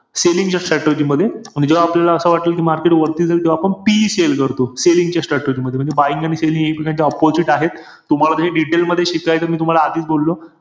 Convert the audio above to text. Selling च्या strategy मध्ये जेव्हा आपल्याला असं वाटेल कि market वरती जाईल तेव्हा आपण PE sell करतो. Selling च्या strategy मध्ये. म्हणजे buying आणि selling एकमेकांच्या opposite आहेत. तूम्हाला हे detail मध्ये शिकायचंय, मी तुम्हाला आधीच बोललो,